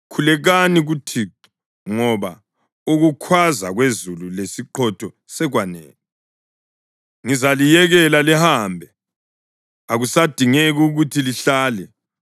Khulekani kuThixo, ngoba ukukhwaza kwezulu lesiqhotho sekwanele. Ngizaliyekela lihambe; akusadingeki ukuthi lihlale.”